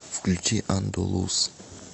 включи андалус